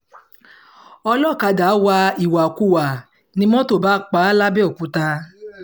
olọ́kadà wa ìwàkuwà ni mọ́tò bá pa á làbẹ́òkúta